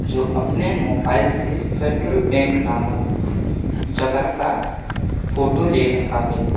जो अपने मोबाइल से फेडरल बैंक नामक जगह का फोटो ले रहा है।